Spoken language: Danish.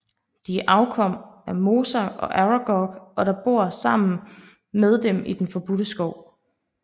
De er afkom af Mosag og Aragog og bor sammen med dem i den Forbudte Skov